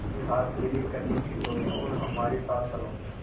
उसके हाथ पीले करने की सोचो और हमारे साथ चलो